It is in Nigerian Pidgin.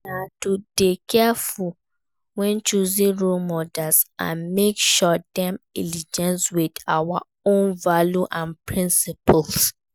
Na to dey careful when choosing role models and make sure dem align with our own values and principles.